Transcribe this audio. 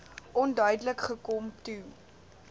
onduidelik gekom toe